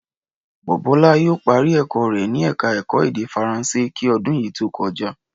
Bọ̀bọ́lá yóò parí ẹ̀kọ́ rẹ̀ ni ẹ̀ka ẹ̀kọ́ èdè Faransé kí ọdún yìí tó kọjá